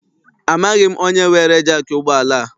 Amaghị m onye weere jaakị ụgbọala a.